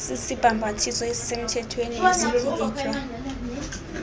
sisibhambathiso esisemthethweni esityikitywa